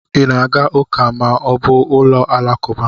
Ị na aga ụka ma ọ bụ ụlọ alakụba?